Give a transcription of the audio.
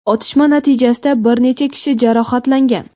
Otishma natijasida bir necha kishi jarohatlangan.